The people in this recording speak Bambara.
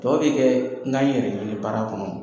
Tɔ bɛ kɛ n ka na yɛrɛ ɲini baara kɔnɔ